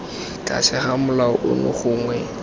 tlase ga molao ono gongwe